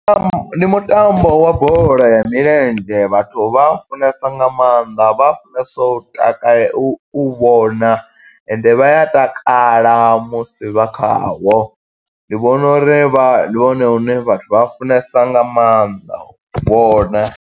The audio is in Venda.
Ndi mutambo wa bola ya milenzhe, vhathu vha funesa nga maanḓa vha a funesa u takale, u u vhona, ende vha ya takala musi vha kha wo. Ndi vhona uri vha, ndi wone une vhathu vha funesa nga maanḓa, u vhona.